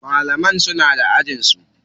Malaman suna da ajin su.